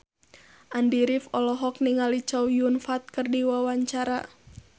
Andy rif olohok ningali Chow Yun Fat keur diwawancara